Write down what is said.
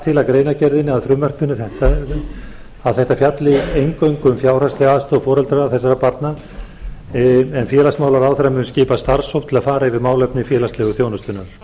til í greinargerðinni að frumvarp þetta fjalli eingöngu um fjárhagslega aðstoð foreldra þessara barna en félagsmálaráðherra muni skipa starfshóp til að fara yfir málefni félagslegu þjónustunnar